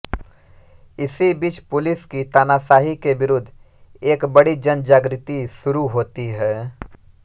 इसी बीच पुलिस की तानाशाही के विरूद्ध एक बड़ी जनजागृति शुरू होती है